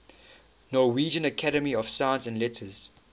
norwegian academy of science and letters